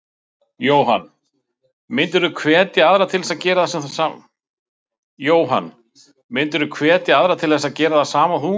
Jóhann: Myndirðu hvetja aðra til þess að gera það sama og þú?